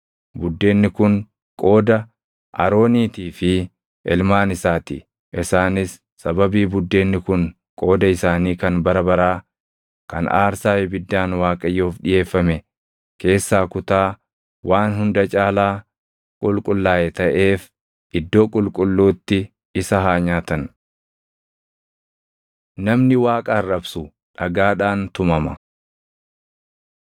Buddeenni kun qooda Arooniitii fi ilmaan isaa ti; isaanis sababii buddeenni kun qooda isaanii kan bara baraa kan aarsaa ibiddaan Waaqayyoof dhiʼeeffame keessaa kutaa waan hunda caalaa qulqullaaʼe taʼeef iddoo qulqulluutti isa haa nyaatan.” Namni Waaqa Arrabsu Dhagaadhaan Tumama